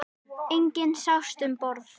Enginn sást um borð.